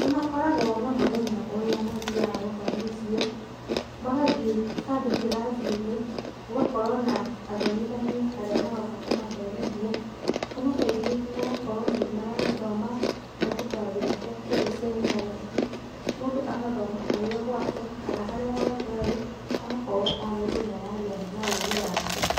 Nĩ makoragwo na mũthenya ũrĩa mathiaga gũthomithio, magathiĩ handũ kĩrathi-inĩ, gũgakorwo na athomithania arĩa maroka kũmathomithia kana kaingĩ ũgakora ona nĩ marathoma kũhĩtũkĩra njĩra cia kĩrĩu cia intaneti, mũndũ agathoma arĩ o gwake kana harĩa hothe arĩ, agakorwo o mũndũ nĩ aragĩa na ũgĩ wake.